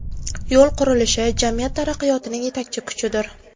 Yo‘l qurilishi – jamiyat taraqqiyotining yetakchi kuchidir.